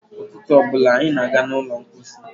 Ụtụtụ ọ bụla anyị na-aga n'ụlọ mkpọsi.